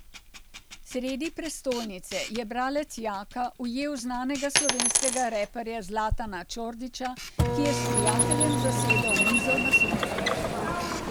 Sredi prestolnice je bralec Jaka ujel znanega slovenskega reperja Zlatana Čordića, ki je s prijateljem zasedel mizo na soncu.